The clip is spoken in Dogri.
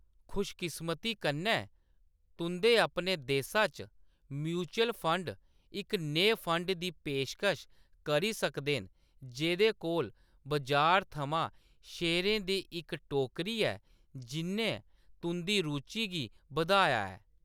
खुशकिस्मती कन्नै, तुंʼदे अपने देशा च म्यूचुअल फंड इक नेह् फंड दी पेशकश करी सकदे न जेह्‌दे कोल बजार थमां शेयरें दी इक टोकरी ऐ जिʼन्नै तुंʼदी रुचि गी बधाया ऐ।